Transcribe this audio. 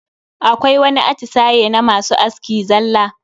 Akwai wani atisaye na masu aski zalla.